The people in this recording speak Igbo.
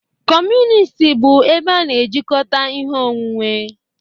Kọmunist bụ ebe a na-ejikọta ihe onwunwe.